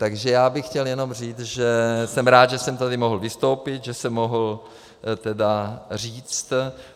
Takže já bych chtěl jenom říct, že jsem rád, že jsem tady mohl vystoupit, že jsem mohl tedy říct...